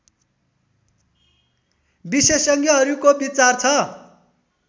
विशेषज्ञहरूको विचार छ